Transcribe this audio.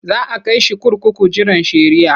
Za a kai shi kurkuku jiran shari'ah.